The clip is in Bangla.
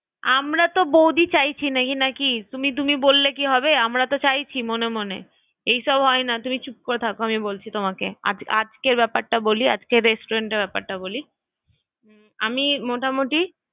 আমরা তো বৌদি চাইছি নাকি নাকি তুমি তুমি বললে কি হবে? আমরা তো চাইছি মনে মনে এসব হয় না তুমি চুপ করে থাকো আমি বলছি তোমাকে ~আজকের ব্যাপারটা বলি না আজকের রেস্টুরেন্টের ব্যাপারটা বলি আমি মোটামুটি হ্যাঁ বল